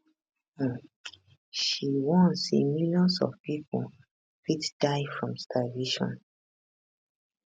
um she warn say millions of pipo fit die from starvation